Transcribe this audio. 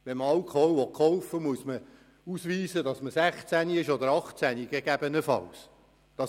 Wenn man Alkohol kaufen will, muss man ausweisen können, dass man 16 oder gegebenenfalls 18 Jahre alt ist.